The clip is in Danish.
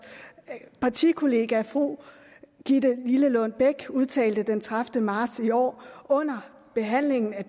partikollega fru gitte lillelund bech udtalte den tredivete marts i år under behandlingen af